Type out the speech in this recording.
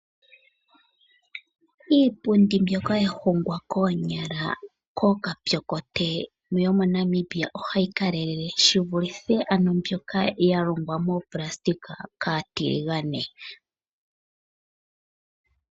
Iipundi mbyoka ya hongwa koonyala kookapyokote yo moNamibia ohayi kalelele shivulithe mbyoka ya longwa moplasitika kaatiligane.